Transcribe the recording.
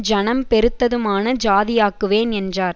ஜனம் பெருத்ததுமான ஜாதியாக்குவேன் என்றார்